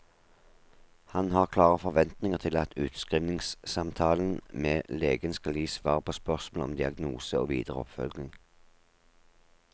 Han har klare forventninger til at utskrivningssamtalen med legen skal gi svar på spørsmål om diagnose og videre oppfølging.